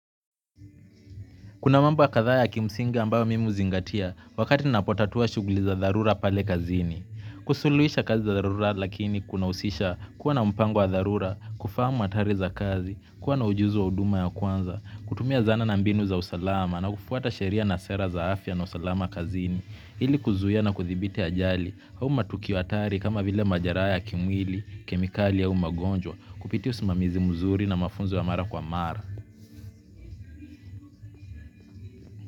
Kuna mambo kadhaa ya kimsingi ambayo mimi huzingatia wakati ninapotatua shughuli za dharura pale kazini. Kusuluhisha kazi za dharura lakini kuna husisha kuwa na mpango wa dharura kufahamu hatari za kazi kuwa na ujuzi wa huduma ya kwanza kutumia dhana na mbinu za usalama na kufuata sheria na sera za afya na usalama kazini, ili kuzuia na kuthibiti ajali au matukio hatari kama vile majeraha ya kimwili kemikali au magonjwa, kupitia usimamizi mzuri na mafunzo ya mara kwa mara.